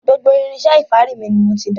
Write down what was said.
Gbogbo irinṣẹ́ ìfárí mi ni mo ti dànù.